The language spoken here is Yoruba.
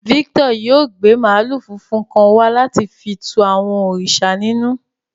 Victor yóò gbe maalu funfun kan wa lati fi tù àwọn òrìṣà ninù.